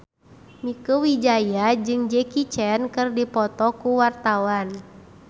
Mieke Wijaya jeung Jackie Chan keur dipoto ku wartawan